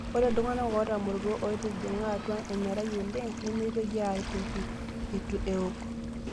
Ore iltung'ana ootamorutua ootijing'a atua emerai oleng' nemeitoki aatoki eitu ewok.